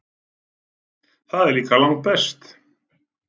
Það er líka langbest.